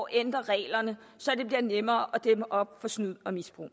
ændre reglerne så det bliver nemmere at dæmme op for snyd og misbrug